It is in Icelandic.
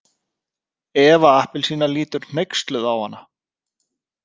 Eva appelsína lítur hneyksluð á hana.